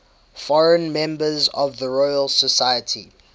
foreign members of the royal society